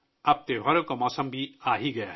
تہواروں کا موسم بھی آ گیا ہے